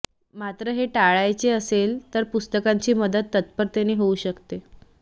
मात्र हे टाळायचं असेल तर पुस्तकांची मदत तत्परतेने होऊ शकते